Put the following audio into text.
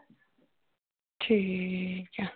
ਠੀਕ ਹੈ।